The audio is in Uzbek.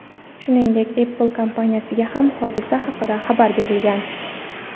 Shuningdek, Apple kompaniyasiga ham hodisa haqida xabar berilgan.